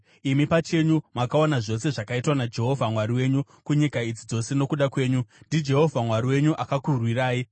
Imi pachenyu makaona zvose zvakaitwa naJehovha Mwari wenyu kunyika idzi dzose nokuda kwenyu; ndiJehovha Mwari wenyu akakurwirai.